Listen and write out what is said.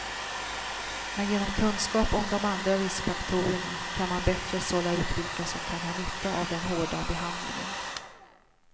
Men genom kunskap om de andra riskfaktorerna kan man bättre sålla ut vilka som kan ha nytta av den hårda behandlingen.